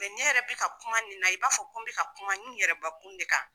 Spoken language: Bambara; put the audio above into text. ne yɛrɛ bi ka kuma nin na, i b'a fɔ ko n bi ka kuma n yɛrɛbakun de kan